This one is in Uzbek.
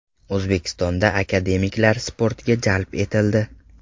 O‘zbekistonda akademiklar sportga jalb etildi.